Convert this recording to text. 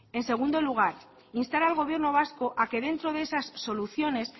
en segundo lugar instar al gobierno vasco a que dentro de esas soluciones